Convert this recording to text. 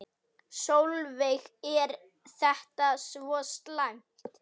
Sólveig: Er þetta svo slæmt?